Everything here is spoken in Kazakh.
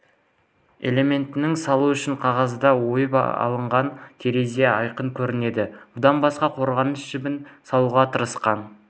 элементін салу үшін қағазда ойып алынған терезе айқын көрінеді бұдан басқа қорғаныш жібін салуға тырысқан